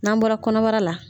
N'an bɔra kɔnɔbara la